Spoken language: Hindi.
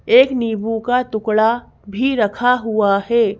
एक नींबू का टुकड़ा भी रखा हुआ है।